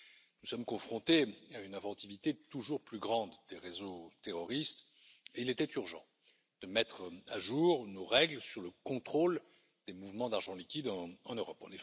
Nous sommes confrontés à une inventivité toujours plus grande des réseaux terroristes, et il était urgent de mettre à jour nos règles sur le contrôle des mouvements d'argent liquide en Europe.